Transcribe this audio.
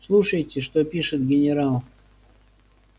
слушайте что пишет генерал